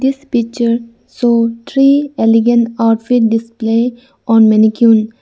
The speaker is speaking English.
This picture show three elegant outfit display on maniquen.